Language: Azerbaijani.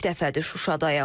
İlk dəfədir Şuşadayam.